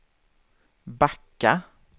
backa